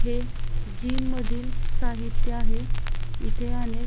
हे जीम मधील साहित्य आहे इथे अनेक --